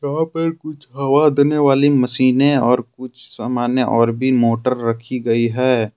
यहां पर कुछ हवा देने वाली मशीने और कुछ सामान्य और भी मोटर रखी गई है।